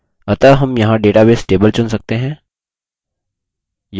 अतः हम यहाँ database table चुन सकते हैं